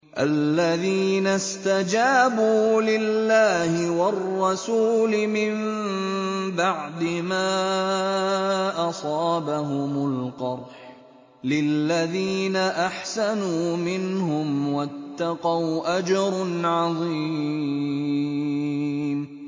الَّذِينَ اسْتَجَابُوا لِلَّهِ وَالرَّسُولِ مِن بَعْدِ مَا أَصَابَهُمُ الْقَرْحُ ۚ لِلَّذِينَ أَحْسَنُوا مِنْهُمْ وَاتَّقَوْا أَجْرٌ عَظِيمٌ